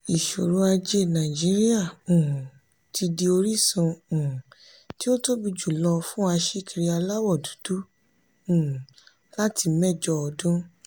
ìṣòro ajé nàìjíríà um ti di orísun um tí ó tóbi jùlọ fún aṣíkiri aláwọ̀ dúdú um láti mẹ́jọ ọdún.